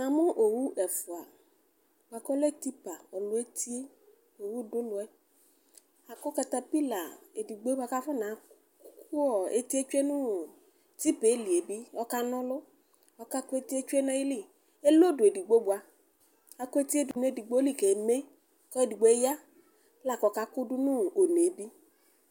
Owʊ ɛfʊe tipa ɔlu etie ɔdʊ ɔnʊɛ laku katapila edigboe bʊakʊ akanaku eti dʊnʊ tipa lɩ ɔkana ɔlʊ ɔkakʊ etie tsue nʊ ayɩlɩ akʊ etɩe dʊnʊ edigbo bʊa